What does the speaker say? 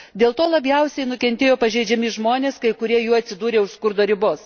Dėl to labiausiai nukentėjo pažeidžiami žmonės, kai kurie jų atsidūrė už skurdo ribos.